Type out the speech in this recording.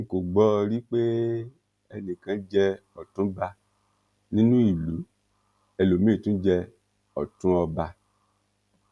n kò gbọ ọ rí pé ẹnì kan jẹ òtúnba nínú ìlú ẹlòmíín tún jẹ ọtún ọba